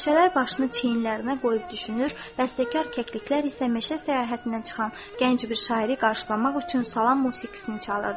Bənövşələr başını çiyinlərinə qoyub düşünür, dəstəkar kəkliklər isə meşə səyahətindən çıxan gənc bir şairi qarşılamaq üçün salam musiqisini çalırdı.